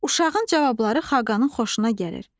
Uşağın cavabları Xaqanın xoşuna gəlir.